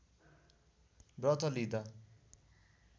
व्रत लिँदा